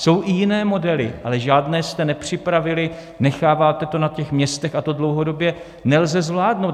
Jsou i jiné modely, ale žádné jste nepřipravili, necháváte to na těch městech a to dlouhodobě nelze zvládnout.